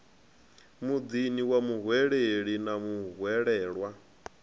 muḓini wa muhweleli na muhwelelwa